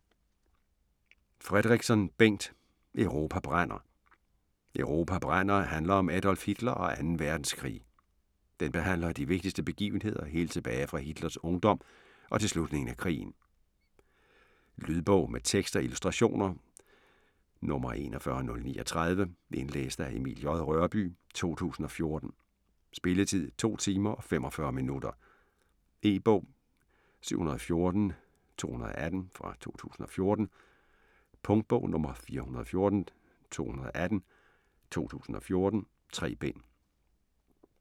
Fredrikson, Bengt: Europa brænder Europa brænder handler om Adolf Hitler og Anden Verdenskrig. Den behandler de vigtigste begivenheder helt tilbage fra Hitlers ungdom og til slutningen af krigen. Lydbog med tekst og illustrationer 41039 Indlæst af Emil J. Rørbye, 2014. Spilletid: 2 timer, 45 minutter. E-bog 714218 2014. Punktbog 414218 2014. 3 bind.